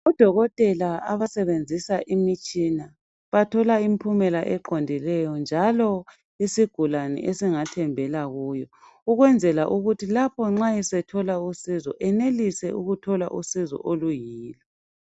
Odokotela abasebenzisa imitshina bathola impumela eqondileyo njalo isigulane esingasenzela kuyo ukwenzela ukuthi lapho esethola usizo enelise ukuthola usizo oluyilo.